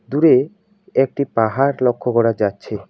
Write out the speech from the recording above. দূরে একটি পাহাড় লক্ষ্য করা যাচ্ছে।